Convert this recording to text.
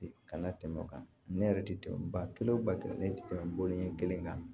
Kana tɛmɛ o kan ne yɛrɛ tɛ tɛmɛ ba kelen o ba kelen ne tɛ tɛmɛ bɔlen ɲɛ kelen kan